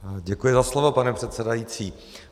Děkuji za slovo, pane předsedající.